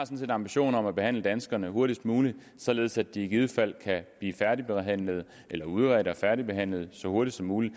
set en ambition om at behandle danskerne hurtigst muligt således at de i givet fald kan blive færdigbehandlet eller udredt og færdigbehandlet så hurtigt som muligt